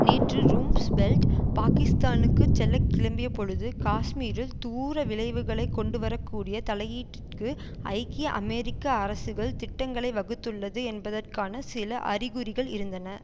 நேற்று ரும்ஸ்பெல்ட் பாகிஸ்தானுக்குச் செல்ல கிளம்பிய பொழுது காஷ்மீரில் தூர விளைவுகளை கொண்டுவர கூடிய தலையீட்டிற்கு ஐக்கிய அமெரிக்க அரசுகள் திட்டங்களை வகுத்துள்ளது என்பதற்கான சில அறிகுறிகள் இருந்தன